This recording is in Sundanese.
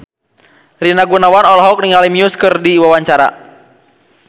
Rina Gunawan olohok ningali Muse keur diwawancara